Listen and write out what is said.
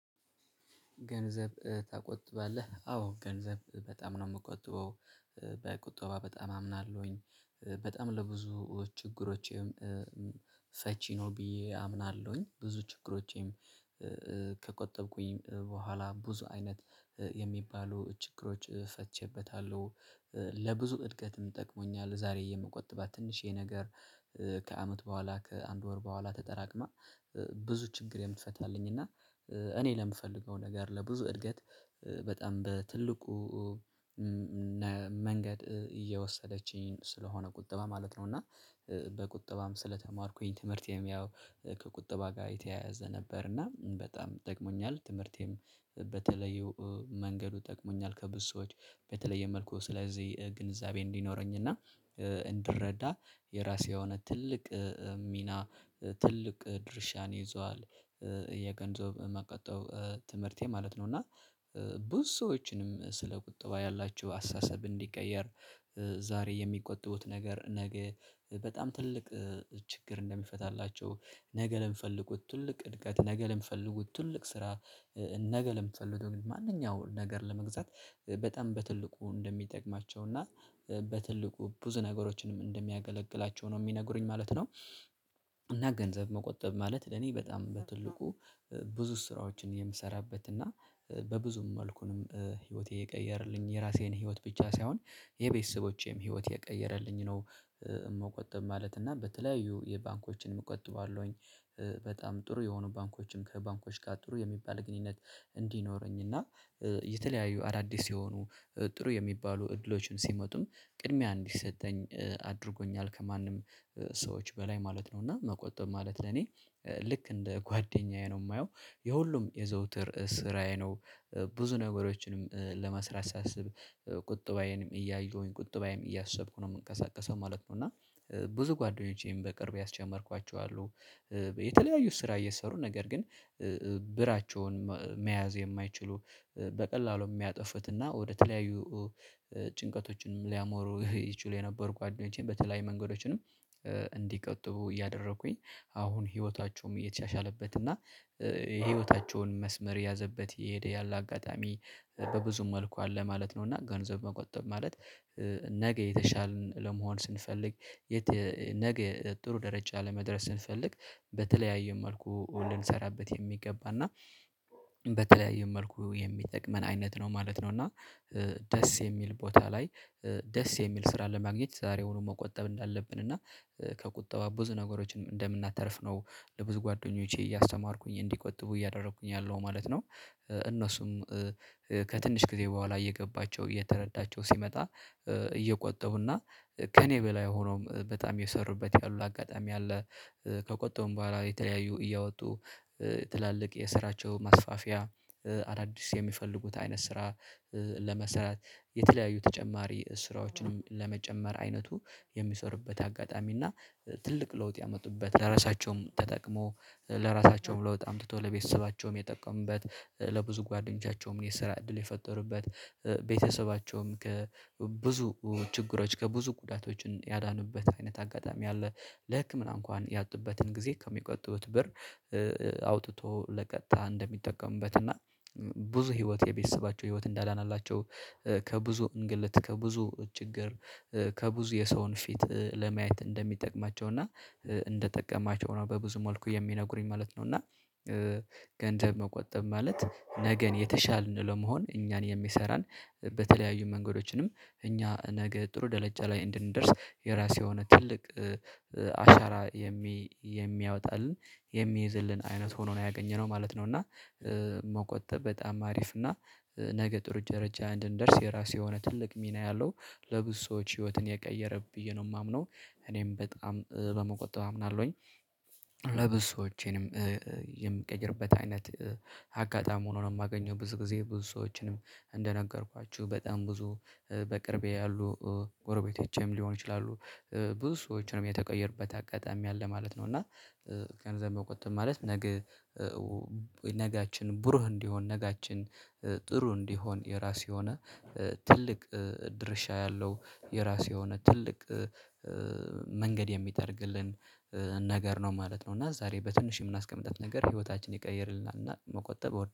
ገንዘብ ትቆጥባለህ አዎ ገንዘብ በጣም ነው የምቆጥበው በቁጠባ በጣም አምናለሁኝ በጣም ለብዙ ችግሮቼም ፈቺ ነው ብዬ አምናለሁኝ። ብዙ ችግሮቼም ከቆጠብኩኝ በኋላ ብዙ አይነት የሚባሉ ችግሮች ፈትቼበታለሁ። ለብዙ እድገትም ጠቅሞኛል ዛሬ የምቆጥባት ትንሽዬ ነገር ከአመት በኋላ ከአንድ ወር በኋላ ተጠራቅማ ብዙ ችግር የምትፈታልኝ እና እኔ ለምፈልገው ነገር ለብዙ እድገት በጣም በትልቁ መንገድ እየወሰደችኝ ስለሆነ ቁጠባ ማለት ነው። እና በቁጠባም ስለተማርኩኝ ትምህርቴም ያው ከቁጠባ ጋር የተያያዘ ነበር እና በጣም ጠግሞኛል ትምህርቴም በተለየው መንገዱ ጠቅሞኛል። ከብዙ ሰዎች በተለየ መልኩ ስለዚህ ግንዛቤ እንዲኖረኝ እና እንድረዳ የራሴ የሆነ ትልቅ ሚና ትልቅ ድርሻን ይዟል የገንዘብ መቆጠብ ትምህርቴ ማለት ነው። እና ብዙ ሰዎችንም ስለ ቁጥባ ያላችሁ አስተሳሰብ እንዲቀየር ዛሬ የሚቆጥቡት ነገር ነገ በጣም ትልቅ ችግር እንደሚፈታላቸው ነገ ለሚፈልጉት ትልቅ እድገት ነገ ልንፈልጉት ትልቅ ስራ ነገ ለሚፈለገው ማንኛውም ነገር ለመግዛት በጣም በትልቁ እንደሚጠቅማቸው እና በትልቁ ብዙ ነገሮችንም እንደሚያገለግላቸው ነው የሚነግሩኝ ማለት ነው። እና ገንዘብ መቆጠብ ማለት ለኔ በጣም በትልቁ ብዙ ስራዎችን የምሰራበት እና በብዙም መልኩንም ህይወቴ የቀየረልኝ የራሴን ህይወት ብቻ ሳይሆን የቤተሰቦቼም ህይወት የቀየረልኝ ነው። መቆጠብ ማለት እና በተለያዩ የባንኮችንም እቀጥባለሁኝ በጣም ጥሩ የሆኑ ባንኮችም ከባንኮች ጋር ጥሩ የሚባል ግንኙነት እንዲኖረኝ እና የተለያዩ አዳዲስ የሆኑ ጥሩ የሚባሉ እድሎችን ሲመጡም ቅድሚያ እንዲሰጠኝ አድርጎኛል ከማንም ሰዎች በላይ ማለት ነው። እና መቆጠብ ማለት ለኔ ልክ እንደ ጓደኛዬ ነው የማየው የሁሉም የዘውትር ስራዬ ነው። ብዙ ነገሮችንም ለመስራት ሳስብ ቁጥባዬንም እያየሁኝ ቁጥባዬም እያሰብኩ ነው የምንቀሳቀሰው ማለት ነው። እና ብዙ ጓደኞቼም በቅርብ ያስጀመርኳቸው አሉ። የተለያዩ ስራ እየሰሩ ነገር ግን ብራቸውን መያዝ የማይችሉ በቀላሉ የሚያጠፉትና ወደተለያዩ ጭንቀቶችንም ሊያሞሩ ይችሉ የነበሩ ጓደኞቼን በተለይ መንገዶችንም እንዲቆጥቡ እያደረኩኝ አሁን ህይወታቸውም እየተሻሻለበት እና የህይወታቸውን መስመር የያዘበት የሄደ ያለ አጋጣሚ በብዙም መልኩ አለ ማለት ነው። እና ገንዘብ መቆጠብ ማለት ነገ የተሻልን ለመሆን ስንፈልግ ነገ ጥሩ ደረጃ ለመድረስ ስንፈልግ በተለያዩ መልኩ ልንሰራበት የሚገባና በተለያዩ መልኩ የሚጠቅመን አይነት ነው ማለት ነው። እና ደስ የሚል ቦታ ላይ ደስ የሚል ስራ ለማግኘት ዛሬውኑ መቆጠብ እንዳለብን እና ከቁጠባ ብዙ ነገሮችን እንደምናተርፍ ነው ለብዙ ጓደኞቼ እያስተማርኩኝ እንዲቆጥቡ እያደረኩኝ ያለው ማለት ነው። እነሱም ከትንሽ ጊዜ በኋላ እየገባቸው እየተረዳቸው ሲመጣ እየቆጠጠቡና ከእኔ በላይ ሆኖም በጣም የሰሩበት ያሉ አጋጣሚ አለ። ከቆጠቡም በኋላ የተለያዩ እያወጡ ትላልቅ የስራቸው ማስፋፊያ አዳዲስ የሚፈልጉት አይነት ስራ ለመስራት የተለያዩ ተጨማሪ ስራዎችንም ለመጨመር አይነቱ የሚሰሩበት አጋጣሚ እና ትልቅ ለውጥ ያመጡበት ለራሳቸውም ተጠቅሞ ለራሳቸውም ለውጥ አምጥቶ ለቤተሰባቸውም የጠቀሙበት ለብዙ ጓደኞቻቸውም የስራ እድል የፈጠሩበት ቤተሰባቸውም ከብዙ ችግሮች ከብዙ ጉዳቶችን ያዳኑበት አይነት አጋጣሚ አለ። ለህክምና እንኳን ያጡበትን ጊዜ ከሚቆጥቡት ብር አውጥቶ ለቀጥታ እንደሚጠቀሙበት እና ብዙ ህይወት የቤተሰባቸው ህይወት እንዳዳነላቸው ከብዙ እንግልት ከብዙ ችግር ከብዙ የሰውን ፊት ለማየት እንደሚጠቅማቸው እና እንደጠቀማቸው ነው በብዙ መልኩ የሚነግሩኝ ማለት ነው። እና ገንዘብ መቆጠብ ማለት ነገን የተሻልን ለመሆን እኛን የሚሰራን በተለያዩ መንገዶችንም እኛ ነገ ጥሩ ደረጃ ላይ እንድንደርስ የራስ የሆነ ትልቅ አሻራ የሚያወጣልን የሚይዝልን አይነት ሆኖ ነው ያገኘነው ማለት ነው። እና መቆጠብ በጣም አሪፍ እና ነገ ጥሩ ደረጃ እንድንደርስ የራሱ የሆነ ትልቅ ሚና ያለው ለብዙ ሰዎች ህይወትን የቀየረ ብዬ ነው የማምነው እኔም በጣም በመቆጠብ አምናለሁኝ። ለብሶቼንም የምቀይርበት አይነት አጋጣሚ ሆኖ ነው የማገኘው ብዙ ጊዜ ብዙ ሰዎችንም እንደነገርኳችሁ በጣም ብዙ በቅርቤ ያሉ ጎረቤቶቼም ሊሆን ይችላሉ ብዙ ሰዎችንም የተቀየሩበት አጋጣሚ አለ ማለት ነው። እና ገንዘብ መቆጠብ ማለት ነገ ነጋችን ብሩህ እንዲሆን ነጋችን ጥሩ እንዲሆን የራሱ የሆነ ትልቅ ድርሻ ያለው የራሱ የሆነ ትልቅ መንገድ የሚጠርግልን ነገር ነው ማለት ነው። እና ዛሬ በትንሽ የምናስቀምጣት ነገር ህይወታችን ይቀይርልናል እና መቆጠብ እወዳለው